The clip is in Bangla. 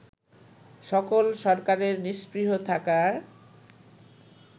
সকল সরকারের নিস্পৃহ থাকার